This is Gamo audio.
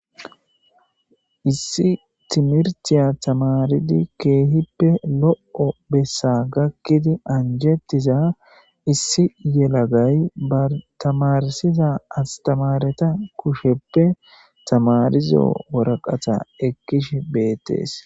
Issi timirtiya tamaridi kehippe lo'o bessa gakidi anjetiya tamare anjimetiza issi yelagay bana tamarsiz astamareta kushepe tamarizo waraqata ekishe betes